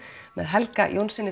með Helga Jónssyni